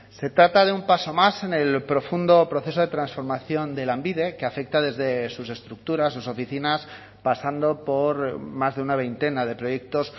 se trata de un paso más en el profundo proceso de transformación de lanbide que afecta desde sus estructuras sus oficinas pasando por más de una veintena de proyectos